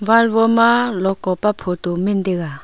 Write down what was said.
wall woma lokopa photo men taiga.